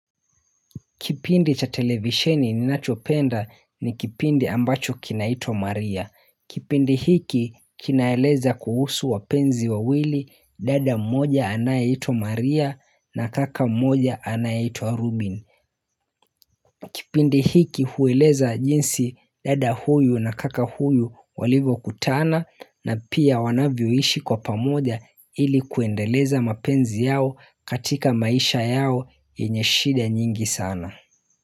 Kipindi cha televisheni ninachopenda ni kipindi ambacho kinaitwa Maria. Kipindi hiki kinaeleza kuhusu wapenzi wawili dada moja anayeitwa Maria na kaka moja anayeitwa Rubin. Kipindi hiki hueleza jinsi dada huyu na kaka huyu walivyokutana na pia wanavyoishi kwa pamoja ili kuendeleza mapenzi yao katika maisha yao yenye shida nyingi sana.